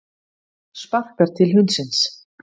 Sparkar til hundsins.